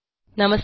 नमस्कार